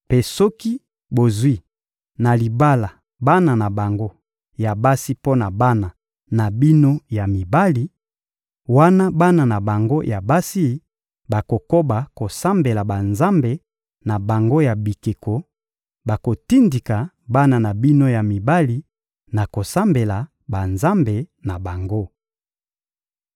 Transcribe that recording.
mpe soki bozwi na libala bana na bango ya basi mpo na bana na bino ya mibali, wana bana na bango ya basi bakokoba kosambela banzambe na bango ya bikeko, bakotindika bana na bino ya mibali na kosambela banzambe na bango.